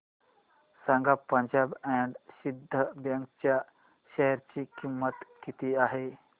सांगा Punjab and Sindh bank च्या share ची किंमत किती आहे